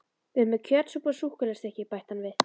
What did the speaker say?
Við erum með kjötsúpu og súkkulaðistykki, bætti hann við.